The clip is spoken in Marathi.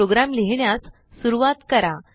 प्रोग्रॅम लिहिण्यास सुरूवात करा